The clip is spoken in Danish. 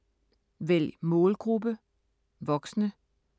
Vælg målgruppe: voksne